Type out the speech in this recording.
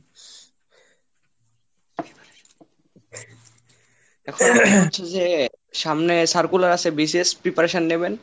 এখন হচ্ছে যে সামনে circular আসছে BCS preparation নেবেন।